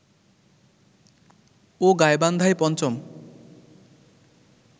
ও গাইবান্ধায় পঞ্চম